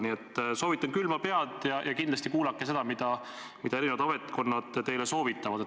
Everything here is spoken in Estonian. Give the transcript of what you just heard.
Nii et soovitan hoida külma pead ja kindlasti kuulake, mida eri ametkonnad teile soovitavad.